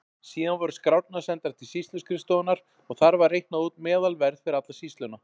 Síðan voru skrárnar sendar til sýsluskrifstofunnar og þar var reiknað út meðalverð fyrir alla sýsluna.